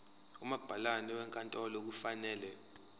umabhalane wenkantolo kufanele